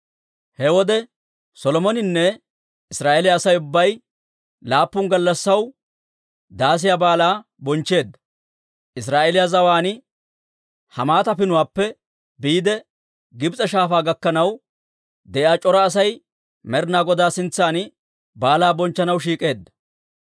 He wode Solomoninne Israa'eeliyaa Asay ubbay laappun gallassaw Daasiyaa Baalaa bonchcheedda; Israa'eeliyaa zawaan Hamaata Pinuwaappe biide Gibs'e Shaafaa gakkanaw de'iyaa c'ora Asay Med'inaa Godaa sintsan baalaa bonchchanaw shiik'eedda.